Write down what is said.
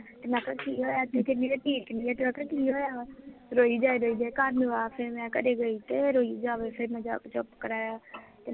ਮੈਂ ਕਿਹਾ ਕਿ ਹੋਇਆ, ਕਹਿੰਦੀ ਮੈਂ ਠੀਕ ਨੀ ਆਖਿਆ ਕਿ ਹੋਇਆ ਵਾ, ਰੋਈ ਜਾਏ ਰੋਈ ਜਾਏ ਘਰ ਨੂੰ ਆ ਫੇਰ ਮੈਂ ਘਰੇ ਗਈ ਤੇ ਇਹ ਰੋਈ ਜਾਵੇ ਤੇ ਫੇਰ ਮੈਂ ਜਾ ਕੇ ਚੁੱਪ ਕਰਾਇਆ